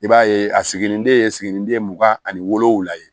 I b'a ye a siginiden siginiden mugan ani wolonvula ye